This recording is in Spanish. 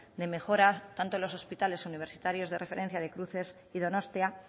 de mejora tanto en los hospitales universitarios de referencia de cruces y donostia